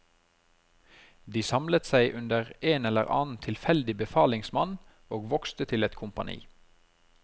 De samlet seg under en eller annen tilfeldig befalingsmann og vokste til et kompani.